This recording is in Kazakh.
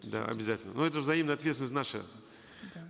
да обязательно но эта взаимная ответственность наша да